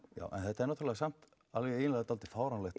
þetta er náttúrulega samt dálítið fáránlegt